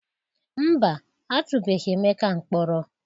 Mba, a atụbeghi Emeka mkpọrọ.